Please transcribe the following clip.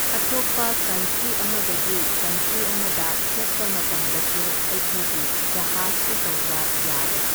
ꯑꯇꯣꯞꯄ ꯀꯟꯇ꯭ꯔꯤ ꯑꯃꯗꯒꯤ ꯀꯟꯇ꯭ꯔꯤ ꯑꯃꯗ ꯆꯠꯄ ꯃꯇꯝꯗꯁꯨ ꯑꯩꯈꯣꯏꯒꯤ ꯖꯍꯥꯁꯇ ꯇꯧꯕ ꯌꯥꯔꯦ꯫